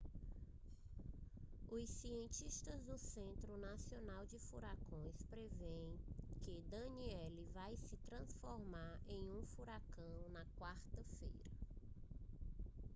os cientistas do centro nacional de furacões preveem que danielle vai se transformar em um furacão na quarta-feira